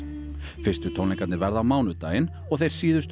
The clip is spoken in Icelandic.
fyrstu tónleikarnir verða á mánudaginn og þeir síðustu